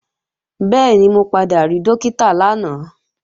Bẹ́ẹ̀ni, mo padà rí Dókítà lánàá